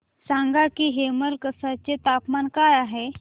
सांगा की हेमलकसा चे तापमान काय आहे